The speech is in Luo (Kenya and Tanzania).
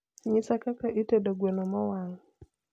nyisa kaka itedo gweno mowang